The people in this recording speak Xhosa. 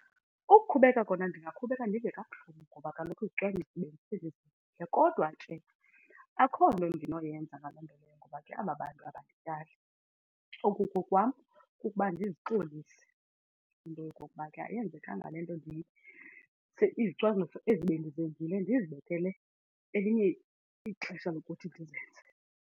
Ukukhubeka kona ndingaqhubeka ndive kabuhlungu ngoba kaloku izicwangciso . Kodwa nje akho nto endinoyenza ngaloo nto leyo ngoba ke aba bantu abandityali. Okukokwam kukuba ndizixolise into yokokuba ke ayenzekanga le nto , izicwangciso ezi bendizenzile ndizibekele elinye ixesha lokuthi ndizenze.